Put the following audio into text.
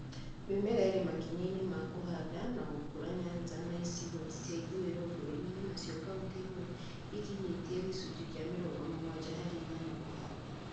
Mĩmera ĩrĩ makinya-inĩ ma kũhanda na gũkũra Nyanza na icigo cia ithũũĩro bũrũri-inĩ nacio kauntĩ imwe ikinyĩtie gĩcunjĩ kĩa mĩrongo mũgwanja harĩ igana kũhanda